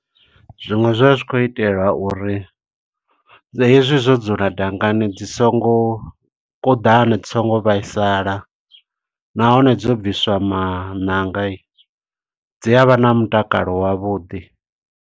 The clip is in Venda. Zwiṅwe zwa zwi khou itelwa uri, hezwi zwo dzula dangani dzi songo kuḓana, dzi songo vhaisala. Nahone dzo bviswa maṋanga, dzi avha na mutakalo wavhuḓi.